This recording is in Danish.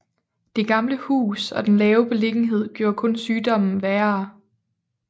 Det gamle hus og den lave beliggenhed gjorde kun sygdommen værre